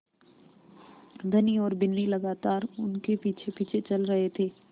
धनी और बिन्नी लगातार उनके पीछेपीछे चल रहे थे